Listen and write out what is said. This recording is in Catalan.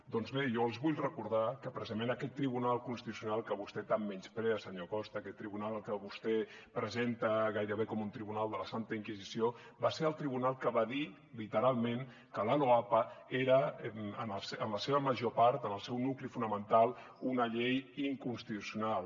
doncs bé jo els vull recordar que precisament aquest tribunal constitucional que vostè tant menysprea senyor costa aquest tribunal que vostè presenta gairebé com un tribunal de la santa inquisició va ser el tribunal que va dir literalment que la loapa era en la seva major part en el seu nucli fonamental una llei inconstitucional